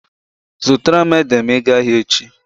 Zụtara m ede ma ị gaa ahịa echi.